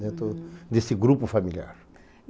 Dentro desse grupo familiar.